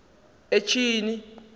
etyhini